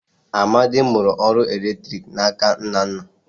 Amadi mụrụ ọrụ ọkụ eletriki na aka Nnanna